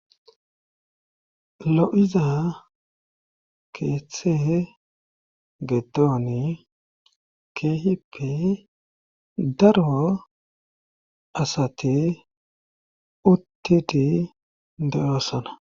Lo'iza keeththe getooni keehippi darwo asati uttiti de'oossana.